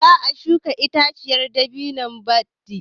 Za a shuka itaciyar dabino badi.